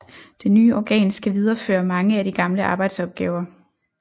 Det nye organ skal videreføre mange af de gamle arbejdsoppgaver